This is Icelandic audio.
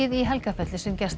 í Helgafelli sem gestabók